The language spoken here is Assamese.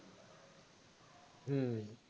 হম